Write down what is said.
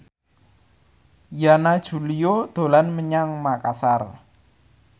Yana Julio dolan menyang Makasar